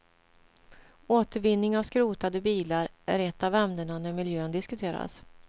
Återvinning av skrotade bilar är ett av ämnena när miljön diskuteras.